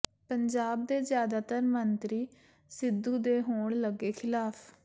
ਪੰਜਾਬ ਦੇ ਜ਼ਿਆਦਾਦਰ ਮੰਤਰੀ ਸਿੱਧੂ ਦੇ ਹੋਣ ਲੱਗੇ ਖਿਲਾਫ